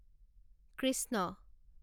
Krishna